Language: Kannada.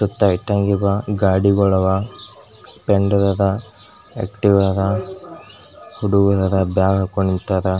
ಸುತ್ತ ಇಟ್ಟಂಗ್ ಅದ್ ಗಾಡಿಗುಳ್ ಅವ್ ಪೆಂಡ್ಡ್ ದದ ಆಕ್ಟಿವ್ ಅದ್ ಹುಡುಗ್ರರ ಬ್ಯಾಗ್ ಹಾಕೊಂಡ್ ನಿಂತರ್.